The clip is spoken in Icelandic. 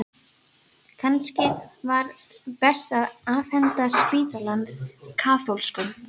Kannski var best að afhenda spítalann kaþólskum?